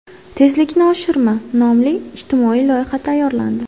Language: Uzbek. Tezlikni oshirma” nomli ijtimoiy loyiha tayyorlandi.